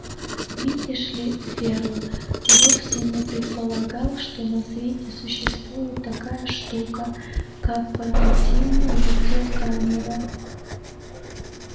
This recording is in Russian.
видишь ли ферл вовсе не предполагал что на свете существует такая штука как портативная видеокамера